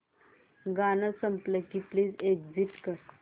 गाणं झालं की प्लीज एग्झिट कर